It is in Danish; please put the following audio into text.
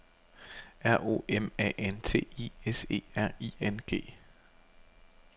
R O M A N T I S E R I N G